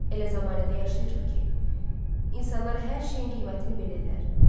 Elə zəmanədə yaşayırıq ki, insanlar hər şeyin qiymətini bilirlər.